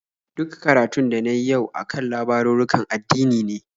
Duk karatun da na yi yau a kan labarurrukan addini ne.